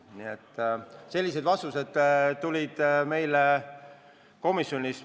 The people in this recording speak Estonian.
Nii et sellised vastused saime komisjonis.